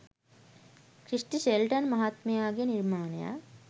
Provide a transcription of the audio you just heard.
Christie Shelton මහත්මයාගේ නිර්මාණයක්.